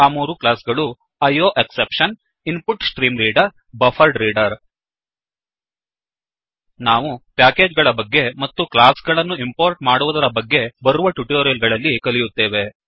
ಆ ಮೂರು ಕ್ಲಾಸ್ ಗಳು ಐಯೋಎಕ್ಸೆಪ್ಷನ್ ಐ ಓ ಎಕ್ಸೆಪ್ಷನ್ InputStreamReaderಇನ್ ಪುಟ್ ಸ್ಟ್ರೀಮ್ ರೀಡರ್ ಮತ್ತು BufferedReaderಬಫ್ಫರ್ಡ್ ರೀಡರ್ ನಾವು ಪ್ಯಾಕೇಜ್ ಗಳ ಬಗ್ಗೆ ಮತ್ತು ಕ್ಲಾಸ್ ಗಳನ್ನು ಇಂಪೋರ್ಟ್ ಮಾಡುವುದರ ಬಗ್ಗೆ ಬರುವ ಟ್ಯುಟೋರಿಯಲ್ ಗಳಲ್ಲಿ ಕಲಿಯುತ್ತೇವೆ